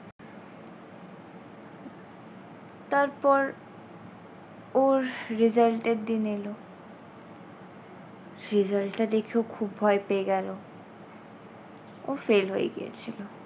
তারপর ওর result এর দিন এল। result টা দেখে ও খুব ভয় পেয়ে গেলো ও fail হয়ে গিয়েছিল।